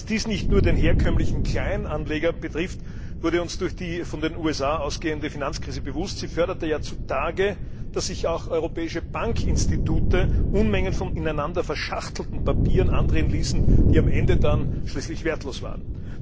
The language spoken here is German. Dass dies nicht nur den herkömmlichen Kleinanleger betrifft, wurde uns durch die von den USA ausgehende Finanzkrise bewusst. Sie förderte zutage, dass sich auch europäische Bankinstitute Unmengen von ineinander verschachtelten Papieren andrehen ließen, die am Ende schließlich wertlos waren.